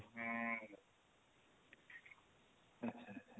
ଆଛା ଆଛା